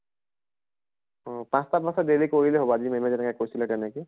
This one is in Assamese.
পাছ্টা পাছ্টা daily কৰিলে হʼব, আজি ma'am য়ে যেনেকে কৈছিলে তেনেকে।